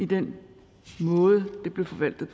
den måde det blev forvaltet